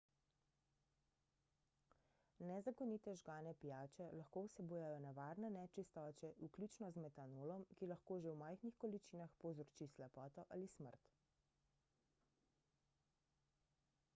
nezakonite žgane pijače lahko vsebujejo nevarne nečistoče vključno z metanolom ki lahko že v majhnih količinah povzroči slepoto ali smrt